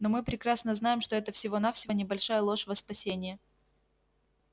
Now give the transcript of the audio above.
но мы прекрасно знаем что это всего-навсего небольшая ложь во спасение